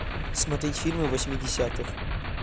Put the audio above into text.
смотреть фильмы восьмидесятых